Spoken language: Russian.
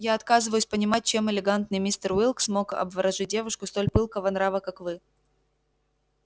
я отказываюсь понимать чем элегантный мистер уилкс мог обворожить девушку столь пылкого нрава как вы